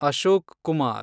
Ashok Kumar